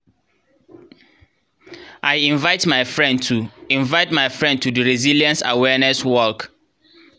i invite my friend to my friend to di resilience awareness walk